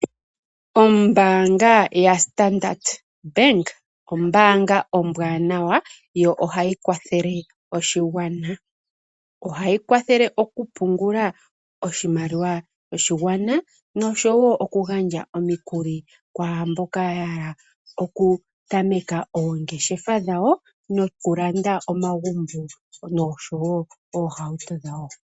Ombaanga ya Standard Bank ombaanga ombwaanawa yo ohayi kwathele oshigwana. Ohayi kwathele okupungula oshimaliwa sho shigwana noshowo okugandja omikuli kwaamboka ya hala okutameka oongeshefa dhawo, nokulanda omagumbo noshowo oohauto dhawo.